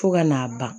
Fo ka n'a ban